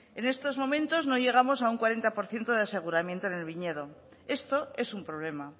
en estos momentos no llegamos a un cuarenta por ciento de aseguramiento en el viñedo esto es un problema